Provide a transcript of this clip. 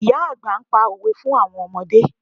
Ìyá àgbà ń pa òwe fún àwọn ọmọdé